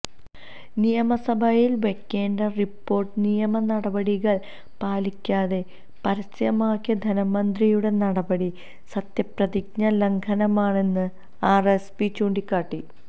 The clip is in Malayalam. നിയമസഭയില് വയ്ക്കേണ്ട റിപോര്ട്ട് നിയമ നടപടികള് പാലിക്കാതെ പരസ്യമാക്കിയ ധനമന്ത്രിയുടെ നടപടി സത്യപ്രതിജ്ഞാ ലംഘനമാണെന്ന് ആര്എസ്പി ചൂണ്ടിക്കാട്ടി